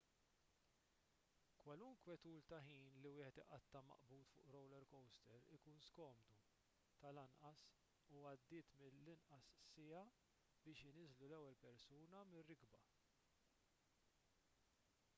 kwalunkwe tul ta' ħin li wieħed iqatta' maqbud fuq roller coaster ikun skomdu tal-anqas u għaddiet mill-inqas siegħa biex iniżżlu lill-ewwel persuna mir-rikba